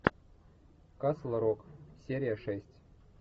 касл рок серия шесть